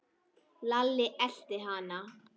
Lalli elti hann.